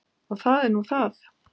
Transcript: Og það er nú það.